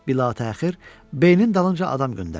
Bilatəxir, Beynin dalınca adam göndərdilər.